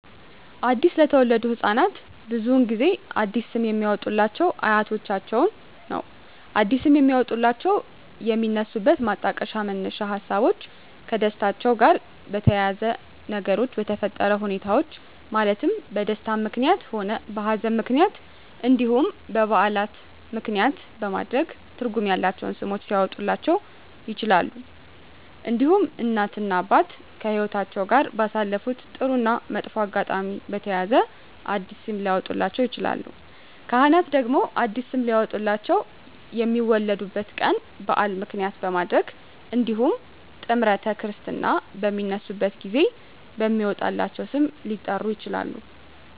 አዲስ ለተወለዱ ህፃናት ብዙውን ጊዜ አዲስ ስም የሚያወጡሏቸው አያቶቻቸውን ነው አዲስ ስም የሚያወጧላቸው የሚነሱበት ማጣቀሻ መነሻ ሀሳቦች ከደስታቸው ጋር በተያያዘ በነገሮች በተፈጠረ ሁኔታዎች ማለትም በደስታም ምክንያትም ሆነ በሀዘንም ምክንያት እንዲሁም በዓላትን ምክንያትም በማድረግ ትርጉም ያላቸው ስሞች ሊያወጡላቸው ይችላሉ። እንዲሁም እናት እና አባት ከህይወትአቸው ጋር ባሳለፉት ጥሩ እና መጥፎ አጋጣሚ በተያያዘ አዲስ ስም ሊያወጡላቸው ይችላሉ። ካህናት ደግሞ አዲስ ስም ሊያወጡላቸው የሚወለዱበት ቀን በዓል ምክንያት በማድረግ እንዲሁም ጥምረተ ክርስትና በሚነሱበት ጊዜ በሚወጣላቸው ስም ሊጠሩ ይችላሉ።